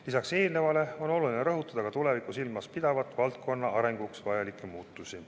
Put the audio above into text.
Lisaks on oluline rõhutada ka tulevikku silmas pidavaid valdkonna arenguks vajalikke muutusi.